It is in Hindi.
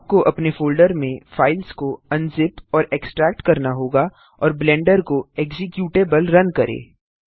आपको अपने फोल्डर में फाइल्स को अनजिप और एक्सट्रैक्ट करना होगा और ब्लेंडर को एक्जीक्यूटेबल रन करें